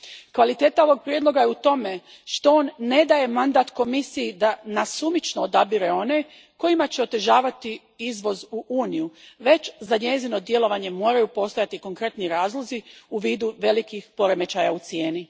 Kvaliteta ovog prijedloga je u tome što on ne daje mandat Komisiji da nasumično odabire one kojima će otežavati izvoz u Uniju, već za njezino djelovanje moraju postojati konkretni razlozi u vidu velikih poremećaja u cijeni.